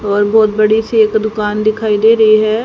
और बहोत बड़ी सी एक दुकान दिखाई दे रही है।